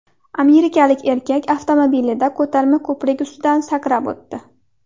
Amerikalik erkak avtomobilida ko‘tarma ko‘prik ustidan sakrab o‘tdi.